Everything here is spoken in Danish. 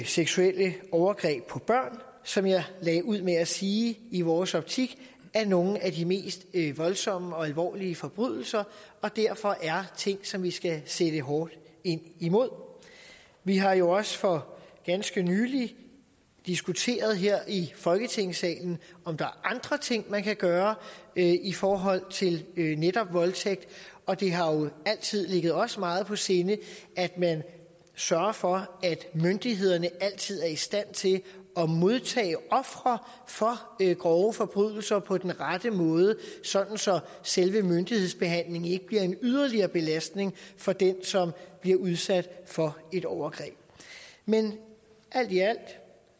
seksuelle overgreb på børn som jeg lagde ud med at sige i vores optik er nogle af de mest voldsomme og alvorlige forbrydelser og derfor er ting som vi skal sætte hårdt ind imod vi har jo også for ganske nylig diskuteret her i folketingssalen om der er andre ting man kan gøre i forhold til netop voldtægt og det har jo altid ligget os meget på sinde at man sørger for at myndighederne altid er i stand til at modtage ofre for grove forbrydelser på den rette måde sådan så selve myndighedsbehandlingen ikke bliver en yderligere belastning for den som bliver udsat for et overgreb men alt i alt